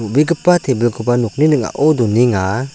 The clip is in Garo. obegipa tebilkoba nokni ning·ao donenga.